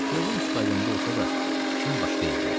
Gözüm stadionda olsa da fikrim başqa yerdə idi.